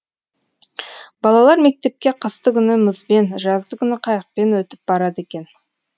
балалар мектепке қыстыгүні мұзбен жаздыгүні қайықпен өтіп барады екен